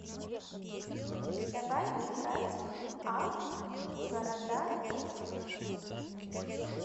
давай играть в апп города тест